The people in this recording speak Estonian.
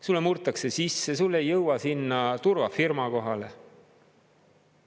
Sulle murtakse sisse, sulle ei jõua sinna turvafirma kohale.